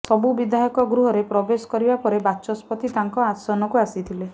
ସବୁ ବିଧାୟକ ଗୃହରେ ପ୍ରବେଶ କରିବା ପରେ ବାଚସ୍ପତି ତାଙ୍କ ଆସନକୁ ଆସିଥିଲେ